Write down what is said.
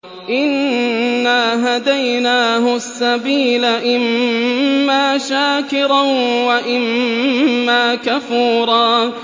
إِنَّا هَدَيْنَاهُ السَّبِيلَ إِمَّا شَاكِرًا وَإِمَّا كَفُورًا